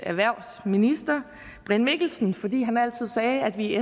erhvervsminister brian mikkelsen fordi han altid sagde at vi i